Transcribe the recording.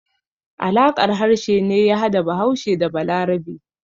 Alaƙar harshe ne ya hada Bahaushe da Balarabe.